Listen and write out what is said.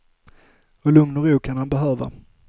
Och lugn och ro kan han behöva.